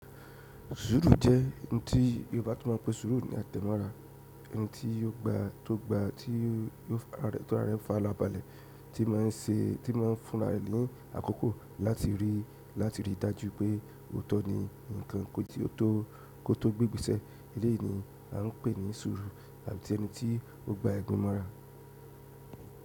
Sùúrù jẹ́ òun tí Yorùbá tó máa pẹ́ sùúrù ni a tẹ́mọ́ra. Ẹni tí ó gba tó gba tí ó ti ara rẹ fà rábalẹ́ tí máa ń ṣe tí máa ń fún ara ẹni àkọ́kọ́ láti rí láti rí i dájú pé òótọ́ ni nǹkan kí ó tó kó tó gbé igbeṣẹ́. Élèyìí ni à ń pè ní sùúrù àbí tí ẹni tí ó gba egbin mọ́ra.